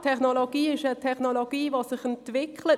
Es ist eine Technologie, die sich entwickelt.